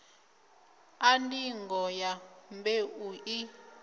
a ndingo ya mbeu i